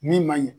Min man ɲi